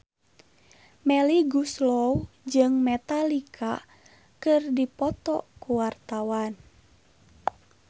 Melly Goeslaw jeung Metallica keur dipoto ku wartawan